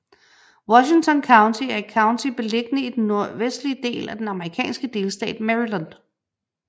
Washington County er et county beliggende i den nordvestlige del af den amerikanske delstat Maryland